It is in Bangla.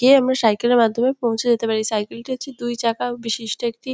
গিয়ে আমরা সাইকেল -এর মাধ্যমে পৌঁছে যেতে পারি। সাইকেল -টি হচ্ছে দুই চাকা বিশিষ্ট একটি --